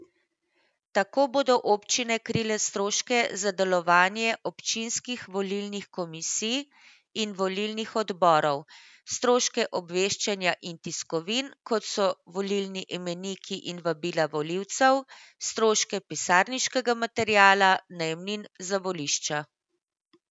Tako bodo občine krile stroške za delovanje občinskih volilnih komisij in volilnih odborov, stroške obveščanja in tiskovin, kot so volilni imeniki in vabila volivcem, stroške pisarniškega materiala, najemnin za volišča.